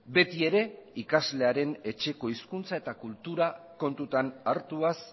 beti ere ikaslearen etxeko hizkuntza eta kultura kontutan hartuaz